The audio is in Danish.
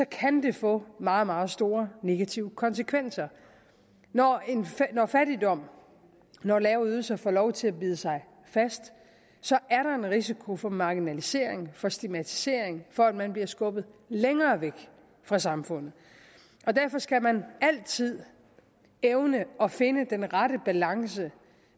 kan det få meget meget store negative konsekvenser når når fattigdom og lave ydelser får lov til at bide sig fast er der en risiko for marginalisering for stigmatisering for at man bliver skubbet længere væk fra samfundet derfor skal man altid evne at finde den rette balance